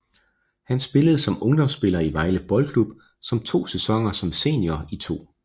Han spillede som ungdomsspiller i Vejle Boldklub samt to sæsoner som senior i 2